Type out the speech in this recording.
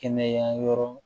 Kɛnɛya yɔrɔ